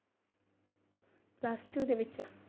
Plus-two ਦੇ ਵਿੱਚ।